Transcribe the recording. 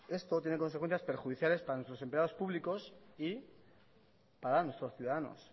esto tiene consecuencias perjudiciales para nuestros empleados públicos y para nuestros ciudadanos